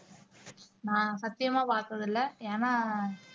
நான் சத்தியமா பார்த்ததில்லை ஏன்னா